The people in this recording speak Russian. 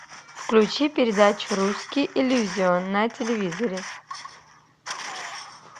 включи передачу русский иллюзион на телевизоре